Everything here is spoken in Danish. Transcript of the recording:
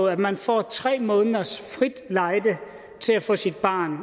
at man får tre måneders frit lejde til at få sit barn